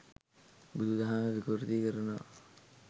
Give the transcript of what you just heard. බුදු දහම විකෘති කරනවා